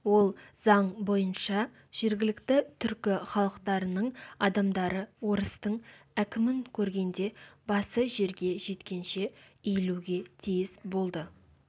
ол заң бойынша жергілікті түркі халықтарының адамдары орыстың әкімін көргенде басы жерге жеткенше иілуге тиіс болды